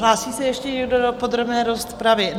Hlásí se ještě někdo do podrobné rozpravy?